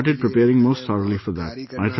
And I started preparing most thoroughly for that